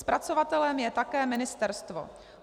Zpracovatelem je také ministerstvo.